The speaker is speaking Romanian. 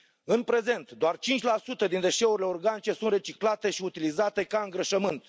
În prezent, doar 5 din deșeurile organice sunt reciclate și utilizate ca îngrășământ.